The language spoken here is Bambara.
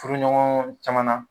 Furuɲɔgɔn caman na